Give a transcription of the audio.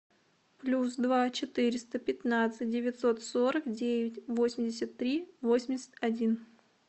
плюс два четыреста пятнадцать девятьсот сорок девять восемьдесят три восемьдесят один